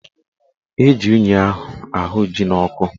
Eji unyi ahụ ji n'ọkụ